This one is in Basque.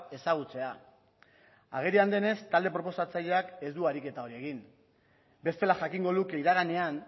ezagutzea agerian denez talde proposatzaileak ez du ariketa hori egin bestela jakingo luke iraganean